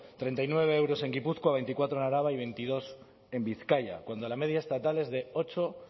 treinta y nueve euros en gipuzkoa veinticuatro en araba y veintidós en bizkaia cuando la media estatal es de ocho